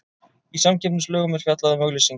Í samkeppnislögum er fjallað um auglýsingar.